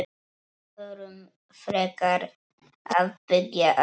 Förum frekar að byggja aftur.